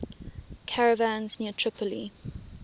caravans near tripoli